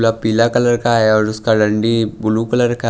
पीला कलर का है और उसका ब्लू कलर का--